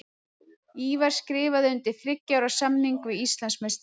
Ívar skrifaði undir þriggja ára samning við Íslandsmeistarana.